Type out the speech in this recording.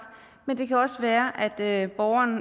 men det kan også være at borgeren